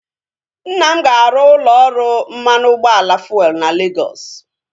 Nna m ga-arụ ụlọ ọrụ mmanụ ụgbọala fuelu na Legọs